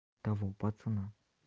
того пацана